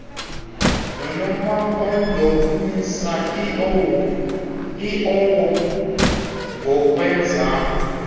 nonomampondomise iowo ngokwezam